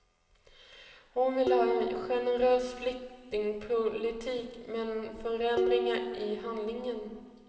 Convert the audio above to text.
Hon vill ha en generös flyktingpolitik, men förändringar i handläggningen.